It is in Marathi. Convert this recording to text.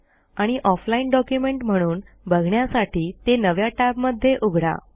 आणि ऑफलाईन डॉक्युमेंट म्हणून बघण्यासाठी ते नव्या टॅबमध्ये उघडा